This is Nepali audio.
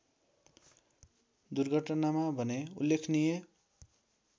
दुर्घटनामा भने उल्लेखनीय